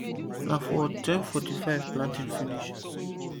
na for ten fortyfive planting finish